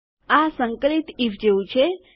આ સંકલિત આઇએફ જેવું છે